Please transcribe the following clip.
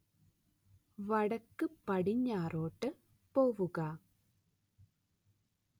വടക്കുപടിഞ്ഞാറോട്ട് പോവുക